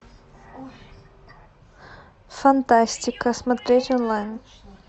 фантастика смотреть онлайн